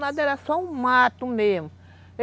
Nada, era só um mato mesmo.